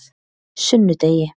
sunnudegi